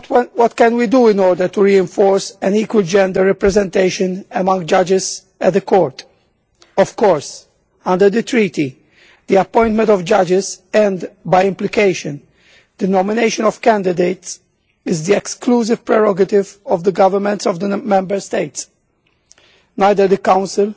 What can we do in order to reinforce an equal gender representation among judges at the Court? Of course under the Treaty the appointment of judges and, by implication, the nomination of candidates, is the exclusive prerogative of the governments of the Member States. Neither the Council